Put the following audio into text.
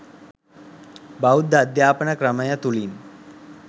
බෞද්ධ අධ්‍යාපන ක්‍රමය තුළින්